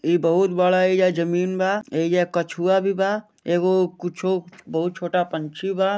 ई बहुत बड़ा यहीजा जमीन बा याहिजा कछुआ भी बा एगो कूचो बहुत छोटा पंक्षी बा।